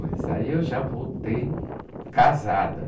Aí eu já voltei casada